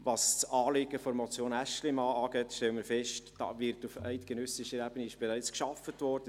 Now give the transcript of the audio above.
Was das Anliegen der Motion Aeschlimann angeht, stellen wir fest, dass auf eidgenössischer Ebene bereits daran gearbeitet wurde.